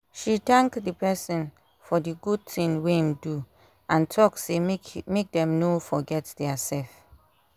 she thank the person for the good thing wey im do and talk say make dem no forget their self